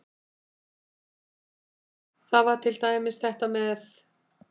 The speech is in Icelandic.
Það var til dæmis þetta með